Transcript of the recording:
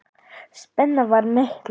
Ný útsýn opnast.